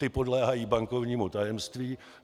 Ty podléhají bankovnímu tajemství.